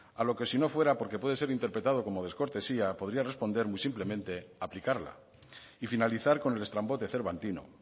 a lo que si no fuera porque puede ser interpretado como descortesía podría responder muy simplemente aplicarla y finalizar con el estrambote cervantino